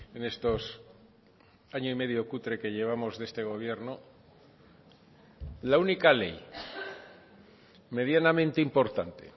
en estos año y medio cutre que llevamos de este gobierno la única ley medianamente importante